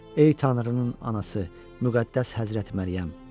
Ey Tanrının anası, Müqəddəs Həzrət Məryəm.